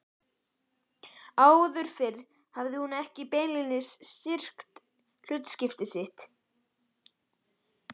Áður fyrr hafði hún ekki beinlínis syrgt hlutskipti sitt.